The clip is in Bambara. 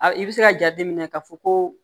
A i bɛ se ka jateminɛ ka fɔ ko